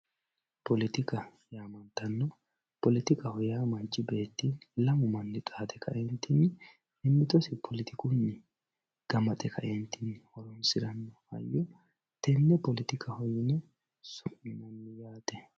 Politika yamantani politikaho ya manchi beti lamu mani xade kaentinni mimitosi politikuni ganaxe kaentinni horonsirano hayyo tene politikahi yine suminanni yatte